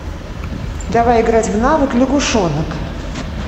давай играть в навык лягушонок